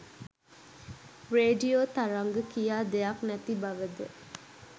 radio තරංග කියා දෙයක් නැති බවද